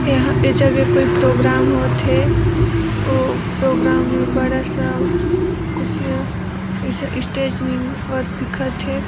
एहाँ ए जगह कोई प्रोग्राम होत हे अउ प्रोग्राम में बड़ा -सा खुर्सियाँ इसे स्टेज निम् और दिखत हे ।